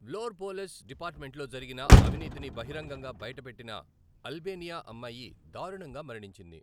వ్లోర్ police డిపార్ట్మెంట్లో జరిగిన అవినీతిని బహిరంగంగా బయటపెట్టిన అల్బేనియా అమ్మాయి దారుణంగా మరణించింది.